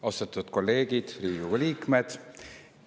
Austatud kolleegid, Riigikogu liikmed!